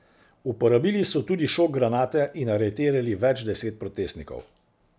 Uporabili so tudi šok granate in aretirali več deset protestnikov.